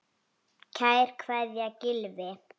Kær kveðja, Gylfi.